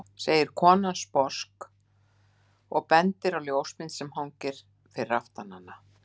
segir konan sposk og bendir á ljósmynd sem hangir fyrir aftan hana.